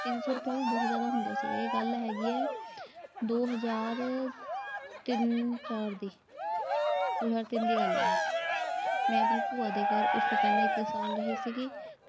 ਤਿੰਨ ਸੌ ਰੁਪਏ ਵੀ ਬਹੁਤ ਜਿਆਦਾ ਹੁੰਦਾ ਸੀ। ਇਹ ਗੱਲ ਹੈਗੀ ਐ ਦੋ ਹਜਾਰ ਤਿੰਨ ਚਾਰ ਦੀ ਦੋ ਹਜਾਰ ਤਿੰਨ ਦੀ ਗੱਲ ਇਹ। ਮੈਂ ਆਪਣੀ ਭੂਆ ਦੇ ਘਰ ਉਸ ਤੋਂ ਪਹਿਲਾਂ ਇੱਕ ਸਾਲ ਰਹੀ ਸੀ।